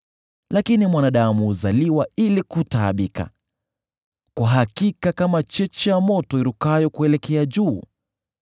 Lakini mwanadamu huzaliwa ili kutaabika, kwa hakika kama cheche za moto zirukavyo kuelekea juu.